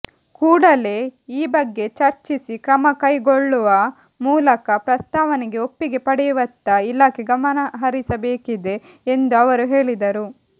ಕೂಡಲೇ ಈ ಬಗ್ಗೆ ಚರ್ಚಿಸಿ ಕ್ರಮ ಕೈಗೊಲ್ಳುವ ಮೂಲಕ ಪ್ರಸ್ತಾವನೆಗೆ ಒಪ್ಪಿಗೆ ಪಡೆಯುವತ್ತ ಇಲಾಖೆ ಗಮನಹರಿಸಬೇಕಿದೆ ಎಂದು ಅವರು ಹೇಳಿದರು